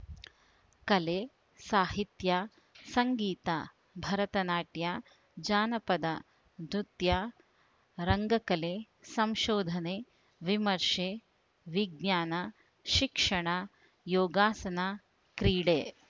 ಕಲೆ ಸಾಹಿತ್ಯ ಸಂಗೀತ ಭರತನಾಟ್ಯ ಜಾನಪದ ನೃತ್ಯ ರಂಗಕಲೆ ಸಂಶೋಧನೆ ವಿಮರ್ಶೆ ವಿಜ್ಞಾನ ಶಿಕ್ಷಣ ಯೋಗಾಸನ ಕ್ರೀಡೆ